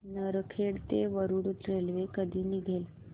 नरखेड ते वरुड रेल्वे कधी निघेल